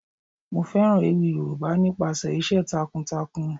Mo fẹ́ràn ewì Yoruba nípa iṣẹ́ takun takun.